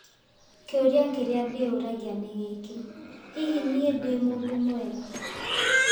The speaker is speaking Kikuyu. Kĩũria kĩrĩa ndĩyũragia nĩ gĩkĩ - hihi niĩ ndĩ mũndũ mwega?